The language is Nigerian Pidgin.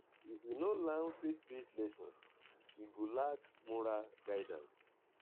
if we no learn faith-based lessons we go lack moral guidance.